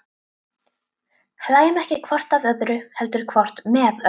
Hlæjum ekki hvort að öðru, heldur hvort með öðru.